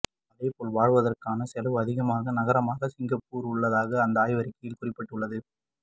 அதேபோல் வாழ்வதற்கான செலவு அதிகமாகும் நகரமாக சிங்கப்பூர் உள்ளதாக அந்த ஆய்வறிக்கையில் குறிப்பிடப்பட்டுள்ளது